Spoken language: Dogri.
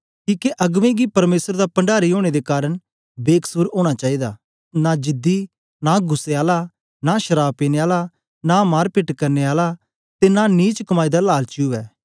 किके अगबें गी परमेसर दा पणडारी ओनें दे कारन बेकसुर ओना चाईदा नां जिदी नां गुस्सै आला नां शराव पीने आला नां मार पेट करने आला ते नां नीच कमाई दा लालची उवै